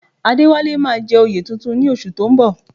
Adéwálé máa jẹ oyè tuntun ní oṣù tó ń bọ̀